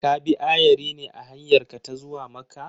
Ka bi ayari ne a hanyarka ta zuwa Makka?